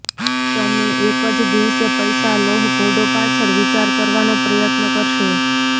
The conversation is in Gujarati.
તમે એક જ દિવસે પૈસા લોહ ઘોડો પાછળ વિચાર કરવાનો પ્રયત્ન કરશે